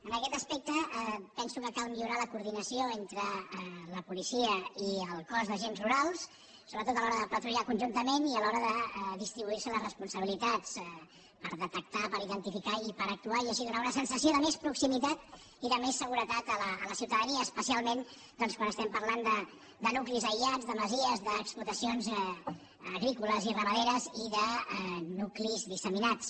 en aquest aspecte penso que cal millorar la coordinació entre la policia i el cos d’agents rurals sobretot a l’hora de patrullar conjuntament i a l’hora de distribuir se les responsabilitats per detectar per identificar i per actuar i així donar una sensació de més proximitat i de més seguretat a la ciutadania especialment doncs quan estem parlant de nuclis aïllats de masies d’explotacions agrícoles i ramaderes i de nuclis disseminats